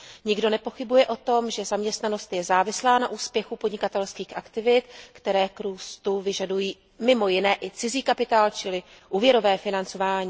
Nikdo nepochybuje o tom, že zaměstnanost je závislá na úspěchu podnikatelských aktivit, které k růstu vyžadují mimo jiné i cizí kapitál čili úvěrové financování.